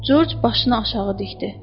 Corc başını aşağı dikdi.